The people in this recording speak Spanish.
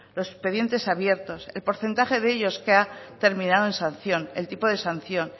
los expedientes abiertos el porcentaje de ellos que ha terminado en sanción el tipo de sanción